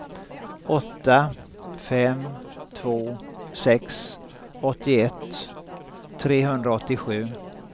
åtta fem två sex åttioett trehundraåttiosju